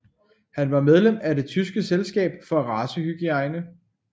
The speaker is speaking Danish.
Han var medlem af Det tyske selskab for racehygiejne